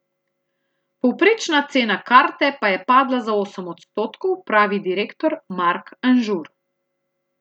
Povprečna cena karte pa je padla za osem odstotkov, pravi direktor Mark Anžur.